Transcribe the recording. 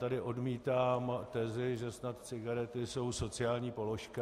Tady odmítám tezi, že snad cigarety jsou sociální položka.